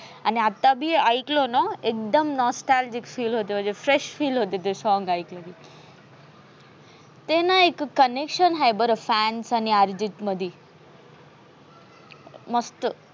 आणि आता बी ऐकलं ना एकदम nostalgic feel होते. fresh feel होते ते song ऐकून ते नाही connection आहे बरं fans आणि अर्जित मधी मस्त